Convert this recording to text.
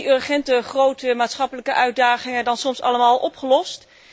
Zijn de urgente, grote maatschappelijke uitdagingen dan soms allemaal al opgelost?